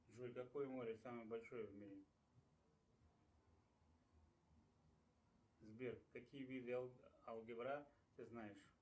джой какое море самое большое в мире сбер какие виды алгебра ты знаешь